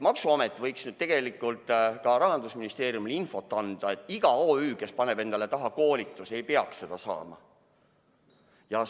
Maksuamet võiks ju tegelikult Rahandusministeeriumile infot anda, et iga OÜ, kes paneb endale nime taha "koolitus", ei peaks seda saama.